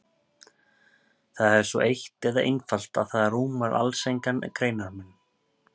Það er svo eitt eða einfalt að það rúmar alls engan greinarmun.